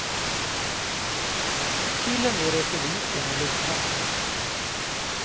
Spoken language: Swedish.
Till och med retoriken är lånad.